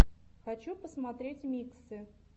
хочу посмотреть миксы